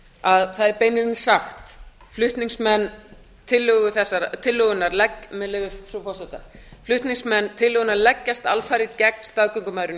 að það er beinlínis sagt með leyfi frú forseta flutningsmenn tillögunnar leggjast alfarið gegn staðgöngumæðrun